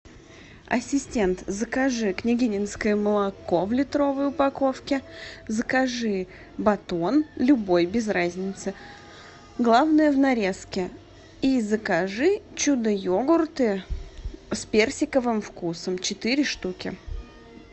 ассистент закажи княгининское молоко в литровой упаковке закажи батон любой без разницы главное в нарезке и закажи чудо йогурты с персиковым вкусом четыре штуки